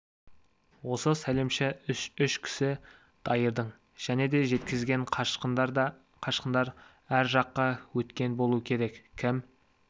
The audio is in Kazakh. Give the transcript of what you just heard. осы сәлемші үш кісі дайырдың және де жеткізген қашқындар ар жаққа өткен болу керек кім